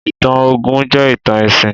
Ìtàn Ògún jẹ́ ìtàn ẹ̀sìn.